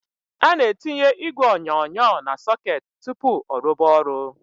A NA- ETỊNYE ỊGWE ỌNYỌNYỌ NA - SỌKETỊ TỤPỤ ỌRUBA ORỤ.